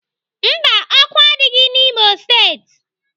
Mba, ọkụ adịghị n'Imo steeti.